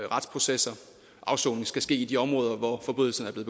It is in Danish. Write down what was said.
retsprocesser og afsoning skal ske i de områder hvor forbrydelserne